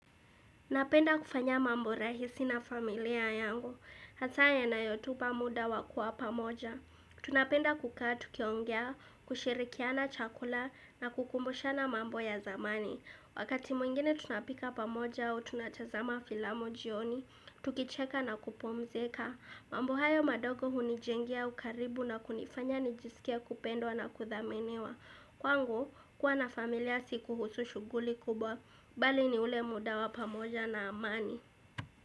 Napenda kufanya mambo rahisi na familia yangu, hasa ya nayotupa muda wakuwa pamoja. Tunapenda kuka tukiongea, kushirikiana chakula na kukumbushana mambo ya zamani. Wakati mwingine tunapika pamoja au tunachazama filamu jioni, tukicheka na kupumzika. Mambo hayo madogo hunijengia ukaribu na kunifanya nijisikia kupendwa na kuthaminiwa. Kwa ngu kuwa na familia siku husu shughuli kubwa bali ni ule muda wa pamoja na amani.